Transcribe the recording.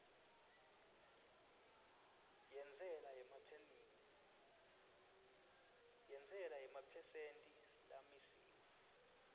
yentsela yemaphesenthi lamisiwe